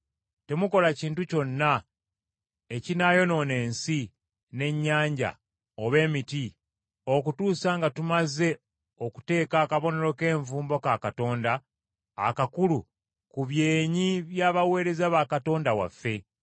“Temukola kintu kyonna, ekinaayonoona ensi, n’ennyanja oba emiti, okutuusa nga tumaze okuteeka akabonero k’envumbo ka Katonda akakulu ku byenyi by’abaweereza ba Katonda waffe.”